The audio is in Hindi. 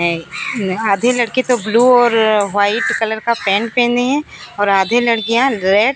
है न आधे लड़के तो ब्लू और व्हाइट कलर का पैंट पहने है और आधे लड़कियां रेड --